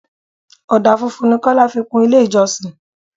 Ọdà funfun ni Kọ́lá fi kun ilé ìjọsìn.